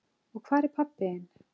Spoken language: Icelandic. Og hvar er pabbi þinn?